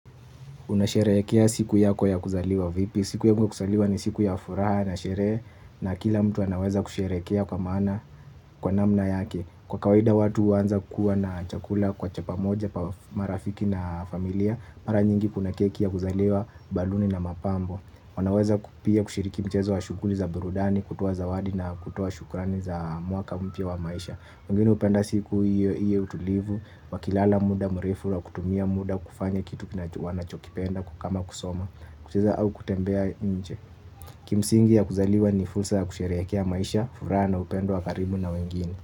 Unasherehekea siku yako ya kuzaliwa vipi. Siku yangu ya kuzaliwa ni siku ya furaha na sherehe na kila mtu anaweza kusherehekea kwa namna yake. Kwa kawaida watu huanza kuwa na chakula kwa chapa moja marafiki na familia mara nyingi kuna keki ya kuzaliwa baluni na mapambo. Wanaweza pia kushiriki mchezo wa shughuli za burudani, kutoa zawadi na kutoa shukurani za mwaka mpya wa maisha wengine upenda siku iwe utulivu, wakilala muda mrefu, kutumia muda, kufanya kitu kina wanachokipenda kukama kusoma kucheza au kutembea nche. Kimsingi ya kuzaliwa ni fursa ya kusherehekea maisha, furaha na upendo wakaribu na wengine.